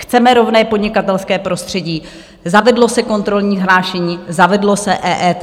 Chceme rovné podnikatelské prostředí, zavedlo se kontrolní hlášení, zavedlo se EET.